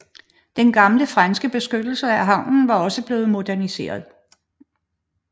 Den gamle franske beskyttelse af havnen var også blevet moderniseret